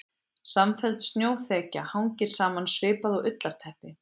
Samfelld snjóþekja hangir saman svipað og ullarteppi.